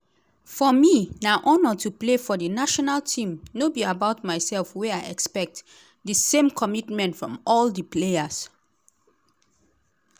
“for me na honour to play for di national team no be about myself wey i expect di same commitment from all di players.”